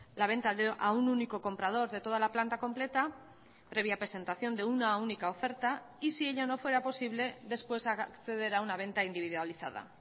la venta a un único comprador de toda la planta completa previa presentación de una única oferta y si ello no fuera posible después acceder a una venta individualizada